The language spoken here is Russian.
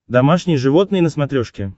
домашние животные на смотрешке